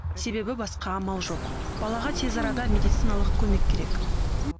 себебі басқа амал жоқ балаға тез арада медициналық көмек керек